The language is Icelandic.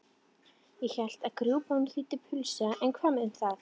Ég hélt að grjúpán þýddi pulsa en hvað um það?